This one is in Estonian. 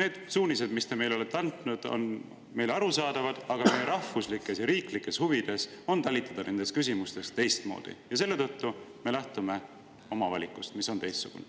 need suunised, mis te meile olete andnud, on meile arusaadavad, aga meie rahvuslikes ja riiklikes huvides on talitada selles küsimuses teistmoodi ja selle tõttu me lähtume oma valikust, mis on teistsugune.